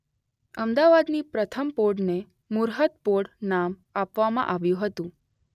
અમદાવાદની પ્રથમ પોળને મૂર્હત પોળ નામ આપવામાં આવ્યું હતું.